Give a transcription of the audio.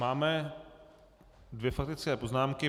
Máme dvě faktické poznámky.